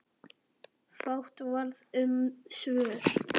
Fátt varð um svör.